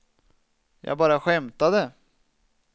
jag bara skämtade